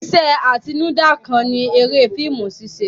Iṣẹ́ atinúdá kan ni eré fíìmù ṣíṣẹ.